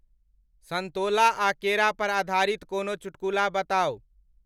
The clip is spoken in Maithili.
संतोला आ केरा पर आधारित कोनो चुटकुला बताउ